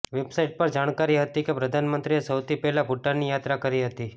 website પર જાણકારી હતી કે પ્રધાનંમંત્રીએ સૌથી પહેલા ભૂટાનની યાત્રા કરી હતી